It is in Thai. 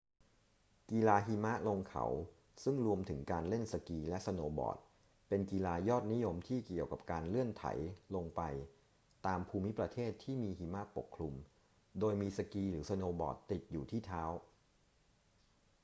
กีฬาหิมะลงเขาซึ่งรวมถึงการเล่นสกีและสโนว์บอร์ดเป็นกีฬายอดนิยมที่เกี่ยวกับการเลื่อนไถลลงไปตามภูมิประเทศที่มีหิมะปกคลุมโดยมีสกีหรือสโนว์บอร์ดติดอยู่ที่เท้า